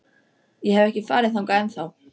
Ég hef ekki farið þangað ennþá.